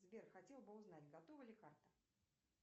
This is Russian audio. сбер хотела бы узнать готова ли карта